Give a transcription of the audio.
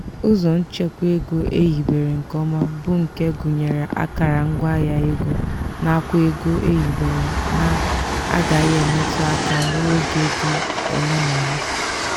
ụzọ nchekwa ego ehibere nke ọma bụ nke gụnyere akara ngwaahịa ego nakwa ego ehibere na-agaghị emetu aka ruo oge dị ole na ole.